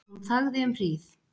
Hún þagði um hríð.